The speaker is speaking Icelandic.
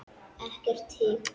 Ekkert hik.